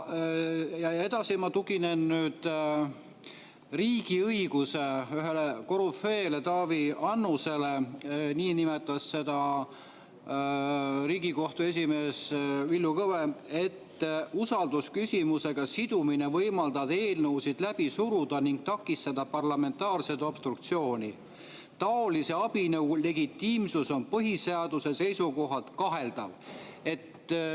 Ja edasi ma tuginen riigiõiguse ühele korüfeele, Taavi Annusele – nii nimetas teda Riigikohtu esimees Villu Kõve –, kes ütles, et usaldusküsimusega sidumine võimaldab eelnõusid läbi suruda ning takistada parlamentaarset obstruktsiooni, sellise abinõu legitiimsus on põhiseaduse seisukohalt kaheldav.